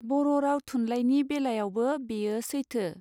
बर राव थुनलाइनि बेलायावबो बेयो सैथो.